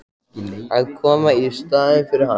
Að koma í staðinn fyrir hann?